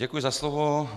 Děkuji za slovo.